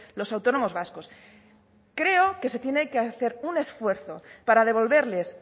los autónomos vascos creo que se tiene que hacer un esfuerzo para devolverles